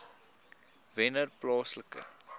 wennerplaaslike